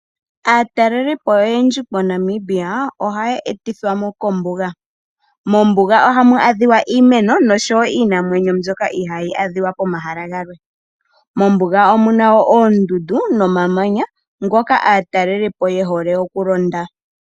Aatalelipo oyendji moNamibia, ohaye etithwamo kombuga. Mombuga ohamu adhika iimeno, noshowo iinamwenyo mbyoka ihaayi adhika komahala galwe. Mombuga omuna wo oondundu, nomamanya ngoka aatalelipo yehole okulonda.